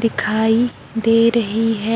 दिखाई दे रही है।